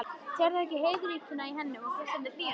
Sérðu ekki heiðríkjuna í henni og geislandi hlýjuna?